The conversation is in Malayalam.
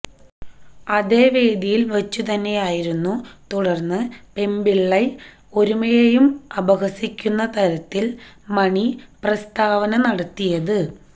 അതേ വേദിയില് വച്ചുതന്നെയായിരുന്നു തുടര്ന്ന് പെമ്പിളൈ ഒരുമയെയും അപഹസിക്കുന്ന തരത്തില് മണി പ്രസ്താവന നടത്തിയത്